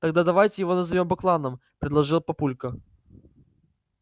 тогда давайте его назовём бакланов предложил папулька